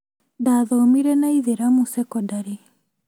Ndathomire na aithĩramu cekondarĩ